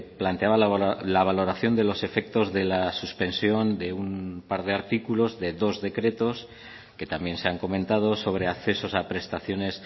planteaba la valoración de los efectos de la suspensión de un par de artículos de dos decretos que también se han comentado sobre accesos a prestaciones